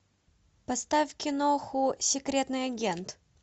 поставь киноху секретный агент